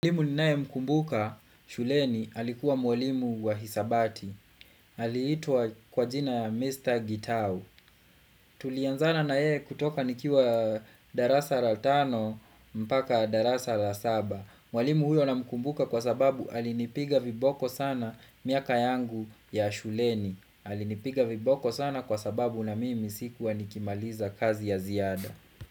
Mwalimu ninae mkumbuka shuleni alikuwa mwalimu wa hisabati. Ali itwa kwa jina Mr. Gitao. Tulianzana na yeye kutoka nikiwa darasa la tano mpaka darasa la saba. Mwalimu huyo na mkumbuka kwa sababu alinipiga viboko sana miaka yangu ya shuleni. Alinipiga viboko sana kwa sababu na mimi sikuwa nikimaliza kazi ya ziada.